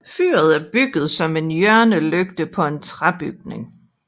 Fyret er bygget som en hjørnelygte på en træbygning